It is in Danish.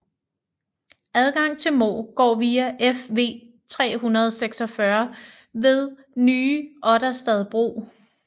Adgang til Mo går via Fv 346 ved Nye Otterstad bro